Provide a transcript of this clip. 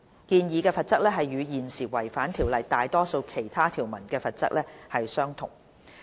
建議的罰則與現時違反《條例》大多數其他條文的罰則相同。